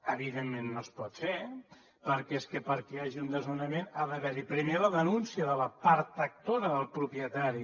evidentment no es pot fer perquè és que perquè hi hagi un desnonament ha d’haver hi primer la denúncia de la part actora del propietari